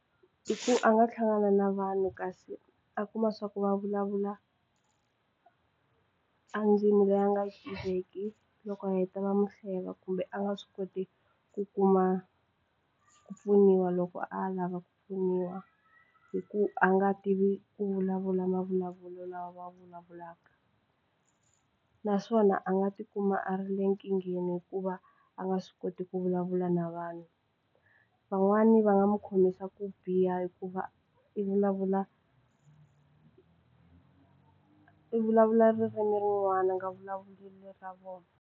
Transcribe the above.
I ku a nga hlangana na vanhu kasi a kuma swa ku va vulavula a ndzimi leyi a nga tiveki loko a heta va mu hleva kumbe a nga swi koti ku kuma ku pfuniwa loko a lava ku pfuniwa hi ku a nga tivi ku vulavula mavulavulelo lawa va vulavulaka naswona a nga tikuma a ri le nkingheni hikuva a nga swi koti ku vulavula na vanhu van'wani va nga n'wu khomisa ku biha hikuva i vulavula i vulavula ririmi rin'wana a nga vulavuli le ra vona.